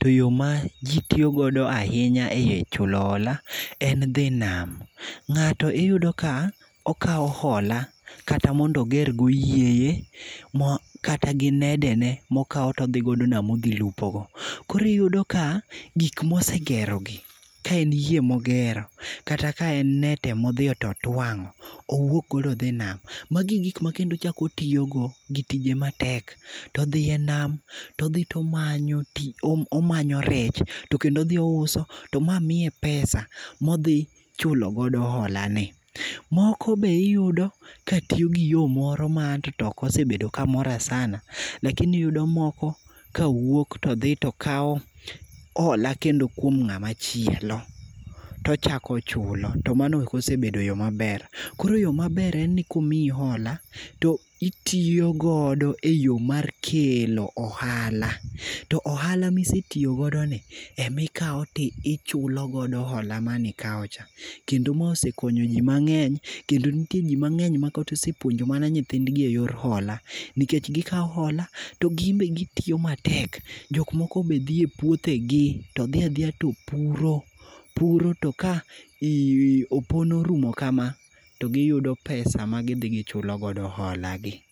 to yo maji tiyogo ahinya echulo hola en dhi nam. Ng'atomiyudo ka okawomhola kata mondo ogergo yieye, kata gi nedene mokawo to odhigodo nam odhi lupogo. Koro iyudom ka gik ma osegerogi, ka en yie mogero kata ka en net ema odhi to otuang'o to owuok odhiogo nam. Magi e gik ma kendo chako otiyogo gi tije matek to odhi enam to odhi to omanyo tich, omanyo rech to odhi ouso to ma miye pesa, odhi chulo godo holani. Moko be iyudo ka tiyo gi yo moro ma an be ok osebedo kamora sana, lakini iyudo moko ka wuok todhi kawo hola kendo kuom ng'ama chielo, to mochako ochulo to mano ok osebedo yo maber. Koro yo maber en ni ka osemiyi hola to itiyo godo eyo mar kelo ohala, to ohala ma isetiyo godoni ema ikawo to chulo godo hola manikawo cha. Kendo ma osaekonyo jki mang'eny, kendo nitie ji mang'eny mosepuonjo nyithindgi eyor holani. To gin be gitiyo matek, jok moko be dhi e puothegi, to dhi adhiya to puro, ropuro to ka opon orumo kama, to giyudo pesa ma gidhi chulo godo holagi.